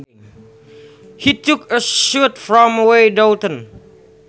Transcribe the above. He took a shot from way downtown